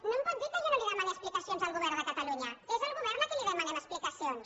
no em pot dir que jo no li demani explicacions al govern de catalunya és el govern a qui li demanem explicacions